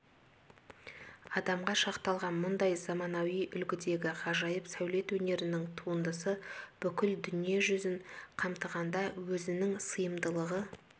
адамға шақталған мұндай заманауи үлгідегі ғажайып сәулет өнерінің туындысы бүкіл дүние жүзін қамтығанда өзінің сыйымдылығы